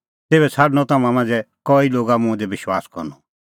तेभै छ़ाडणअ तम्हां मांझ़ै कई लोगा मुंह दी विश्वास करनअ